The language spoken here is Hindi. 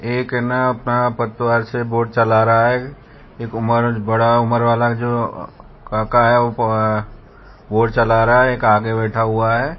एक ना ना पतवार से बोट चला रहा है एक मर्द बड़ा उम्र वाला जो आका है वो अह बोट चला रहा है एक आगे बैठा हुआ है।